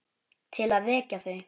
Til að vekja þau.